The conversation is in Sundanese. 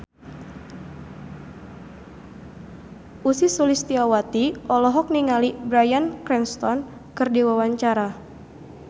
Ussy Sulistyawati olohok ningali Bryan Cranston keur diwawancara